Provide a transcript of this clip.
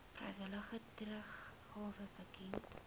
vrywillige teruggawe bekend